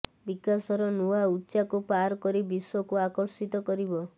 ବିକାଶର ନୂଆ ଉଚ୍ଚାକୁ ପାର କରି ବିଶ୍ୱକୁ ଆକର୍ଷିତ କରିବ